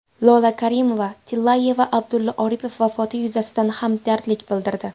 Lola Karimova-Tillayeva Abdulla Oripov vafoti yuzasidan hamdardlik bildirdi.